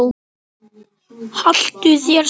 Haltu þér saman